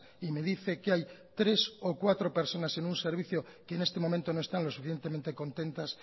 y me dice que hay tres o cuatro personas en un servicio que en este momento no están lo suficientemente contentas